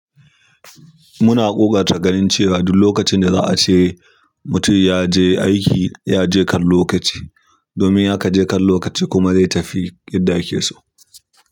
Muna ƙoƙarta ganin cewa duk lokacin da za a ce mutum ya je aiki, ya je kan lokaci. Domin in akaje kan lokaci kuma zai tafi yadda ake so.